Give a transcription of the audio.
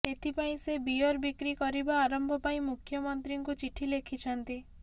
ଏଥିପାଇଁ ସେ ବିୟର୍ ବିକ୍ରି କରିବା ଆରମ୍ଭ ପାଇଁ ମୁଖ୍ୟମନ୍ତ୍ରୀଙ୍କୁ ଚିଠି ଲେଖିଛନ୍ତି